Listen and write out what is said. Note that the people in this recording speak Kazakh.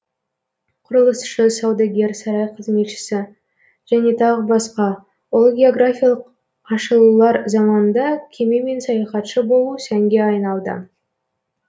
құрылысшы саудагер сарай қызметшісі және тағы басқа ұлы географиялық ашылулар заманында кемемен саяхатшы болу сәнге айналды